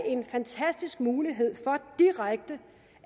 en fantastisk mulighed for direkte